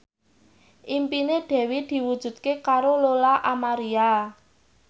impine Dewi diwujudke karo Lola Amaria